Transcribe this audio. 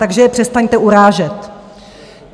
Takže je přestaňte urážet!